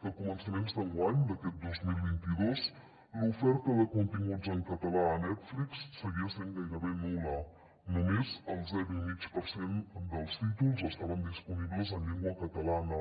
que a començaments d’enguany d’aquest dos mil vint dos l’oferta de continguts en català a netflix seguia sent gairebé nul·la només el zero i mig per cent dels títols estaven disponibles en llengua catalana